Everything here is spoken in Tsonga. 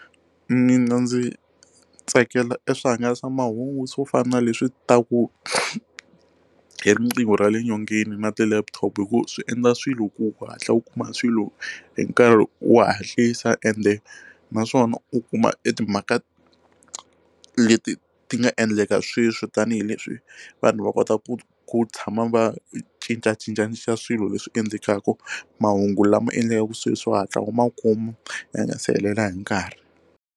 Mina ndzi tsakela e swihangalasamahungu swo fana na leswi ta ku hi riqingho ra le nyongeni na ti laptop hi ku swi endla swilo ku ku hatla u kuma swilo hi nkarhi wo hatlisa ende naswona u kuma e timhaka leti ti nga endleka sweswi tanihileswi vanhu va kota ku ku tshama va cincacincanisa swilo leswi endlekaka mahungu lama endlekaku sweswi u hatla u ma kuma ya nga si helela hi nkarhi.